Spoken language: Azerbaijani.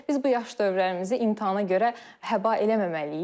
Biz bu yaş dövrlərimizi imtahana görə həba eləməməliyik.